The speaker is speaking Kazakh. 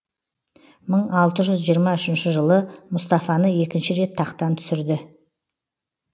мың алты жүз жиырма үшінші жылы мустафаны екінші рет тақтан түсірді